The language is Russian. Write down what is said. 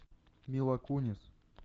мила кунис